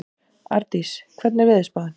Ardís, hvernig er veðurspáin?